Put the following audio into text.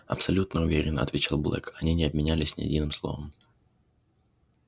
абсолютно уверен отвечал блэк они не обменялись ни единым словом